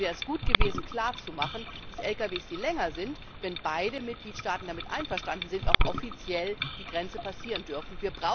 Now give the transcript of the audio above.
Deshalb wäre es gut gewesen klarzumachen, dass längere Lkw, wenn beide Mitgliedstaaten damit einverstanden sind, auch offiziell die Grenze passieren dürfen.